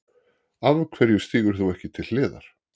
Af hverju stígur þú ekki til hliðar?